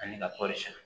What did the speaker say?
Ani ka kɔɔri sɛnɛ